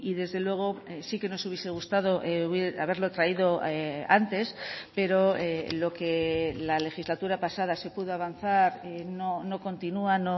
desde luego sí que nos hubiese gustado haberlo traído antes pero lo que la legislatura pasada se pudo avanzar no continúa